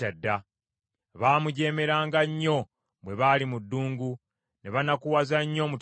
Baamujeemeranga nnyo bwe baali mu ddungu; ne banakuwaza nnyo omutima gwe.